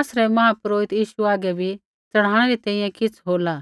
आसरै महापुरोहिता यीशु हागै बी च़ढ़ाणै री तैंईंयैं किछ़ होला